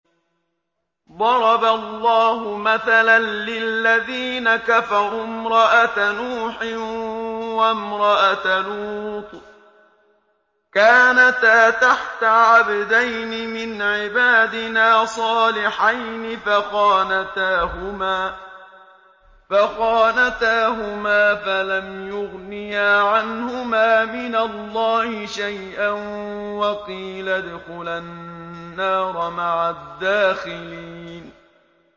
ضَرَبَ اللَّهُ مَثَلًا لِّلَّذِينَ كَفَرُوا امْرَأَتَ نُوحٍ وَامْرَأَتَ لُوطٍ ۖ كَانَتَا تَحْتَ عَبْدَيْنِ مِنْ عِبَادِنَا صَالِحَيْنِ فَخَانَتَاهُمَا فَلَمْ يُغْنِيَا عَنْهُمَا مِنَ اللَّهِ شَيْئًا وَقِيلَ ادْخُلَا النَّارَ مَعَ الدَّاخِلِينَ